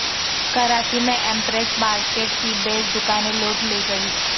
کراچی میں Empress Market کی بیس دکانیں لوٹ لی گئیں